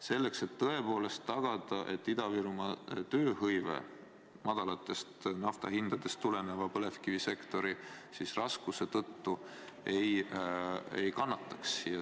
Siis saaks ehk tõepoolest tagada, et Ida-Virumaa tööhõive madalatest nafta hindadest tulenevate põlevkivisektori raskuste tõttu ei kannataks.